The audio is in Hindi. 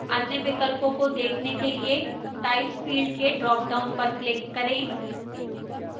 अन्य विकल्पों को देखने के लिए type field के ड्रापडाउन पर click करें